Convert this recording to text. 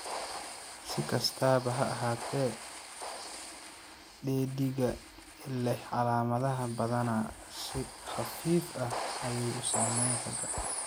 Si kastaba ha ahaatee, dheddigga leh calaamadaha badanaa si khafiif ah ayay u saameeyaan ragga.